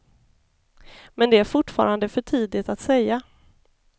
Men det är fortfarande för tidigt att säga.